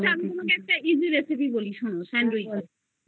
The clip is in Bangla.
আচ্ছা আমি তোমাকে easy recipe বলি sandwich এর শোনো